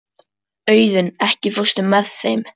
Auðunn, ekki fórstu með þeim?